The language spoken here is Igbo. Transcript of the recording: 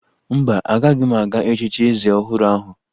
Mba, agaghị m aga echichi eze ọhụrụ ahụ